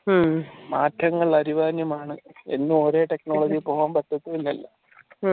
മാറ്റങ്ങൾ അനിവാര്യമാണ് എന്ന് ഒരേ technology പോകാൻ പറ്റത്തില്ലല്ലോ